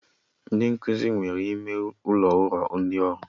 Ndị nkụzi nwere ime ụlọ ụrọ ndị ọrụ